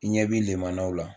I ɲɛ b'i limanaw la.